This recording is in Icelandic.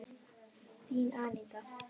Þín, Aníta.